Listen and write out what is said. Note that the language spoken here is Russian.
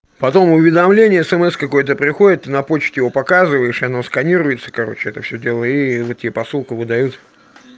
потом уведомление смс какой-то приходит на почте его показываешь и оно сканируется короче это всё дело и вот тебе посылку выдают